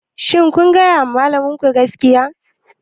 Shin kun gaya wa malaminku gaskiya?